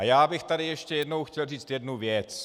A já bych tady ještě jednou chtěl říci jednu věc.